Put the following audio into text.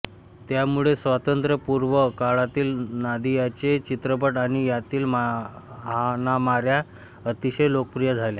त्यामुळे स्वातंत्र्यपूर्व काळातील नादियाचे चित्रपट आणि त्यातील हाणामाऱ्या अतिशय लोकप्रिय झाल्या